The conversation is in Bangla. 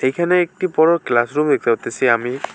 এখানে একটি বড়ো ক্লাসরুম দেখতে পারতাসি আমি।